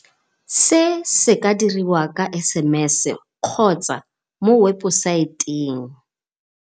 Se se ka dirwa ka SMS kgotsa mo webosaeteng.